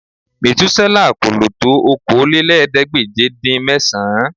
Mètúsélà kò lò tó Okòólélẹ́ẹ̀ẹ́dégbèje-dín-mẹ́sàn-án